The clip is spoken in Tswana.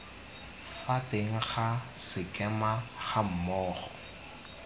fa teng ga sekema gammogo